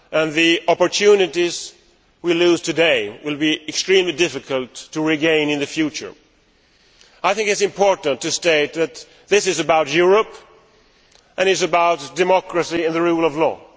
The opportunities we lose today will be extremely difficult to regain in the future. I think that it is important to state that this is about Europe, and it is about democracy and the rule of law.